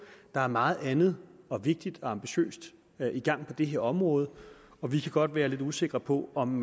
der er meget andet vigtigt og ambitiøst i gang på det her område og vi kan godt være lidt usikre på om